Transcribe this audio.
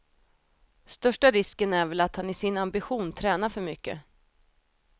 Största risken är väl att han i sin ambition tränar för mycket.